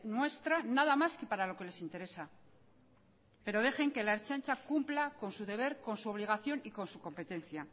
nuestra nada más que para lo que les interesa pero dejen que la ertzaintza cumpla con su deber con su obligación y con su competencia